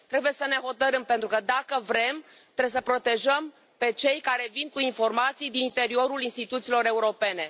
Trebuie să ne hotărâm, pentru că, dacă vrem, trebuie să îi protejăm pe cei care vin cu informații din interiorul instituțiilor europene.